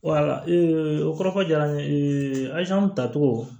o kɔrɔ ko jara n ye tacogo